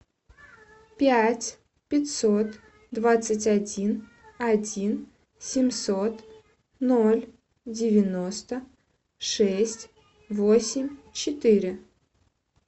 пять пятьсот двадцать один один семьсот ноль девяносто шесть восемь четыре